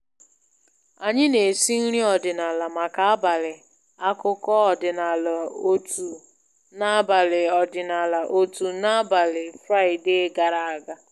Anyị na-esi nri ọdịnala maka abalị akụkọ ọdịnala otu’ n’abalị ọdịnala otu’ n’abalị Fraịde gara aga